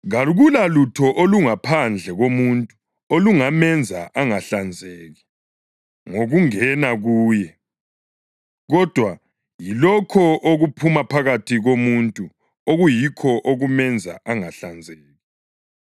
Kakulalutho olungaphandle komuntu olungamenza ‘angahlanzeki’ ngokungena kuye. Kodwa yilokho okuphuma phakathi komuntu okuyikho okumenza ‘angahlanzeki.’ [ 16 Nxa ekhona olendlebe zokuzwa kezwe.] ”+ 7.16 Livesi ayikho kwamanye amaBhayibhili esiLungu.